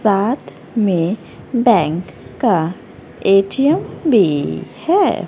साथ में बैंक का ए_टी_एम भी है।